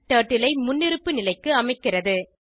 turtle ஐ முன்னிருப்பு நிலைக்கு அமைக்கிறது